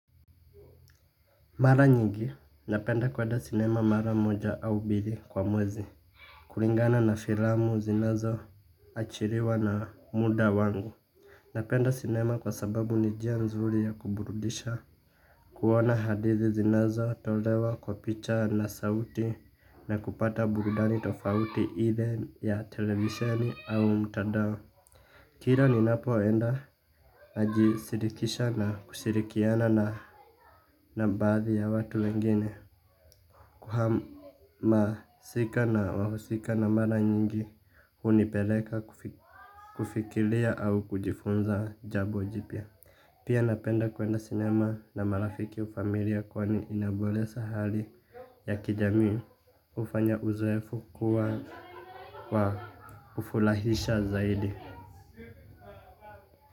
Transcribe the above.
Mara nyingi, napenda kwenda sinema mara moja au mbili kwa mwezi. Kulingana na filamu zinazo achiliwa na muda wangu. Napenda sinema kwa sababu ni njia nzuri ya kuburudisha, kuona hadithi zinazo, tolewa kwa picha na sauti na kupata burudani tofauti ile ya televisioni au mtandao. Kila ninapo enda na jishirikisha na kushirikiana na na baathi ya watu wengine. Kuhama sika na wahusika na mara nyingi hunipeleka kufikiria au kujifunza jambo jipya. Pia napenda kuenda sinema na marafiki au familia kwani inaboresha hali ya kijamii. Hufanya uzowefu kuwa wa kufurahisha zaidi.